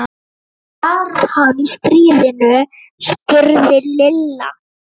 Var hann í stríðinu? spurði Lilla.